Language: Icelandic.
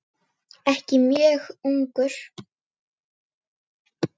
Ekki mjög ungur.